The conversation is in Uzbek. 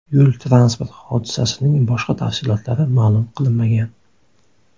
Yo‘l-transport hodisasining boshqa tafsilotlari ma’lum qilinmagan.